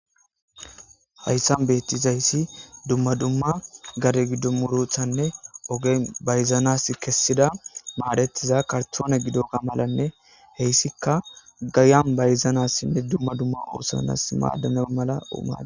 Hayssan beettizayssi dumma dumma gare gidomurothanne ogen bayzanas kessida maadetiza kartoone gido ga malanne heyssikka gayan bayzanas sinne dumma dumma oosanas maadana mala uma.